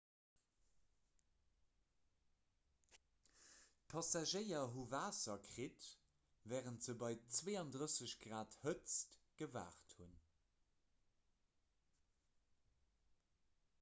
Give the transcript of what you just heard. d'passagéier hu waasser kritt wärend se bei 32 °c hëtzt gewaart hunn